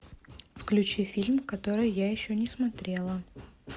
включи фильм который я еще не смотрела